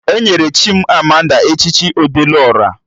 Enyere Chimamanda echichi Ọdelụ Ọra